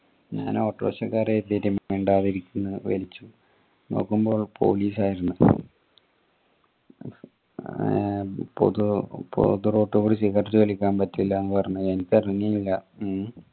ഞാൻ ഓട്ടോറിക്ഷക്കാരാ കരുതിട്ട് മിണ്ടാതിരുന്ന വലിച്ചു നോക്കുമ്പോ police ആയിരുന്നു പുതു റോട്ടുകൂടി cigarette വലിക്കാൻ പാടില്ല എന്ന് പറഞ്ഞ്